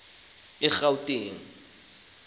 egauteng